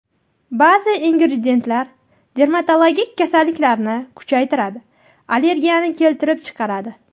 Ba’zi ingrediyentlar dermatologik kasalliklarni kuchaytiradi, allergiyani keltirib chiqaradi.